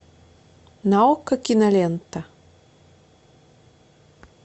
на окко кинолента